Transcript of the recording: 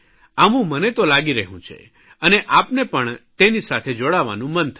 આવું મને તો લાગી રહ્યું છે અને આપને પણ તેની સાથે જોડાવાનું મન થશે